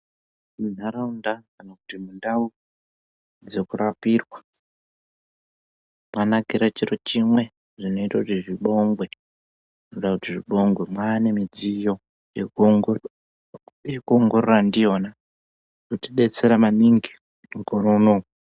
Munharaunda kana kuti mundau dzekurapirwa mwanakira chiro chimwe zvinoita kuti zvibongwe. Zvoda kuti zvibongwe. Mwane midziyo yekuongorora ndiyona yotidetsera maningi mukore unowu.